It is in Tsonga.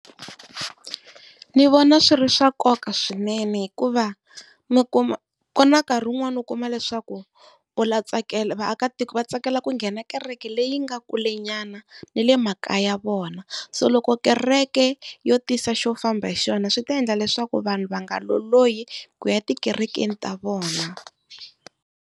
Ndzi vona swi ri swa nkoka swinene hikuva, mi kuma ku na nkarhi wun'wani u kuma leswaku u vaakatiko va tsakela ku nghena kereke leyi nga kulenyana ni le makaya ya vona, so loko kereke yo tisa xo famba hi xona swi ta endla leswaku vanhu va nga lolohi ku ya etikerekeni ta vona.